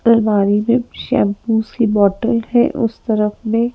अलमारी में शैम्पूस की बॉटल है उस तरफ मे--